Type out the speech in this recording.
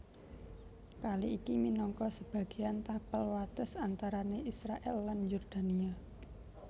Kali iki minangka sebagéan tapel wates antarané Israèl lan Yordania